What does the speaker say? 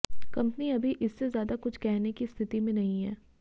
company अभी इससे ज्यादा कुछ कहने की स्थिति में नहीं है